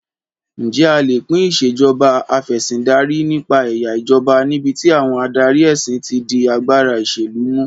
Ǹjẹ́ a lè pín Ìṣèjọba Af'ẹ̀sìndarí nípa ẹ̀yà ìjọba níbi tí àwọn adarí ẹ̀sìn ti di agbára ìṣèlú mú?